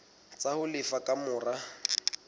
tsa ho lefa ka mora